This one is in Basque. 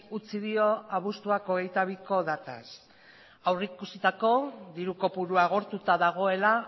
utzi dio abuztuaren hogeita biko dataz aurreikusitako diru kopurua agortuta dagoela